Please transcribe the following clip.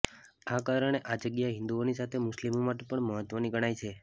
આ કારણે આ જગ્યા હિંદુઓની સાથે મુસ્લિમો માટે પણ મહત્વની ગણાય છે